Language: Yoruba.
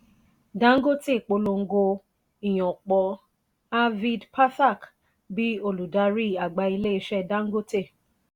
dangote polongo ìyàn pò arvind pathak bí olùdarí àgbà ilé ìṣe dangote.